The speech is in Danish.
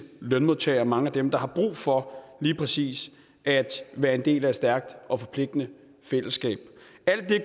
lønmodtagere mange af dem der har brug for lige præcis at være en del af et stærkt og forpligtende fællesskab alt det